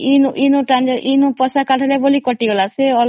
ଏ bank ରୁ କାଢିଲ ବୋଲି କଟିଗଲା ଆଉ